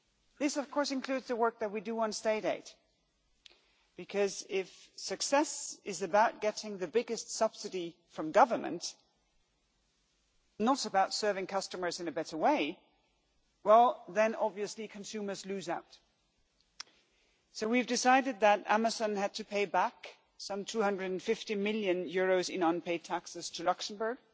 This of course includes the work that we do on state aid, because if success is about getting the biggest subsidy from government and not about serving customers in a better way, then obviously consumers lose out. So we have decided that Amazon had to pay back some EUR 250 million in unpaid taxes to Luxembourg.